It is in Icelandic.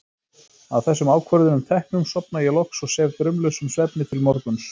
Að þessum ákvörðunum teknum sofna ég loks og sef draumlausum svefni til morguns.